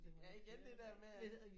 Ja igen det der med at